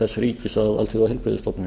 þess ríkis að alþjóðaheilbrigðisstofnuninni